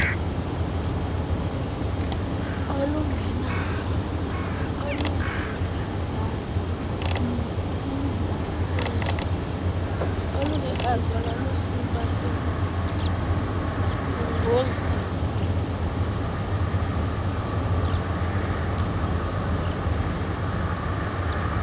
olungekazalwa lusiba sengozini